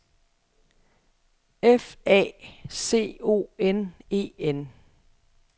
F A C O N E N